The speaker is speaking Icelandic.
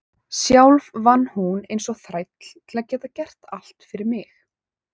Sjálf vann hún eins og þræll til að geta gert allt fyrir mig.